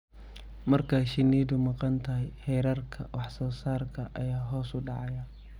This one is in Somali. Marka shinnidu maqan tahay, heerarka wax-soo-saarka ayaa hoos u dhacaya.